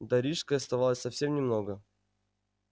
до рижской оставалось совсем немного